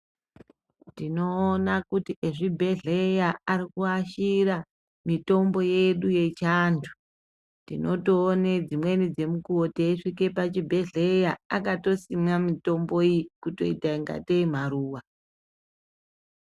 Tinoona kuti ezvibhehleya ari kuashira mitombo yedu yechianthu tinotoone dzimweni dzemukuwo teisvike pachibhedheya akatosima mitombo iyi kutoita ingatei maruwa.